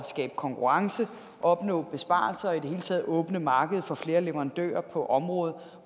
skabe konkurrence og opnå besparelser og i det hele taget åbne markedet for flere leverandører på området